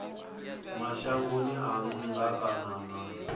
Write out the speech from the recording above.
mashangoni a nnḓa kana na